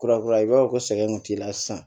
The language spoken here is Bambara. Kura kura i b'a fɔ ko sɛgɛn kun t'i la sisan